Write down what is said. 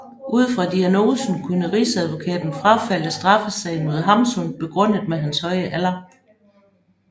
Ud fra diagnosen kunne rigsadvokaten frafalde straffesagen mod Hamsun begrundet med hans høje alder